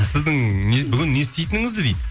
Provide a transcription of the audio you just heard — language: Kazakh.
сіздің бүгін не істейтініңізді дейді